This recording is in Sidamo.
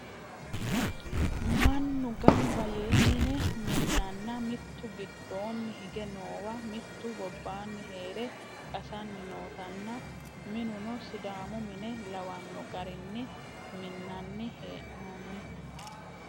mannu ganba yee mine minanna mitu giddoonni hige noowa mitu gobbaani heere qasanni nootanna minuno sidaamu mine lawanno garinni minnanni hee'noonni